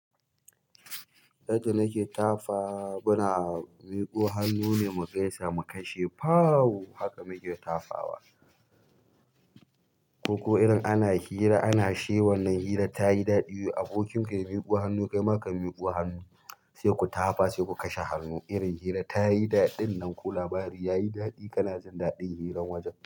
Yadda nake tafa, muna miƙo hannu ne mu gaisa mu kashe, pawwww! Haka muke tafawa. Ko irin ana hira ana sha wannan hira tayi daɗi, abokinka ya miƙo hannu kaima ka miƙo hannu sai ku tafa sai ku kashe hannu. Irin hira ta yi daɗin nan ko labari ya yi daɗi kana jin daɗin hiran wajen.